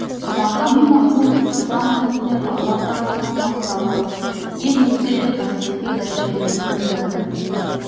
мақами махмуд ислам дінінде алла тарапынан мақтаулы ең ізгі де қасиетті дәрежелердің бірі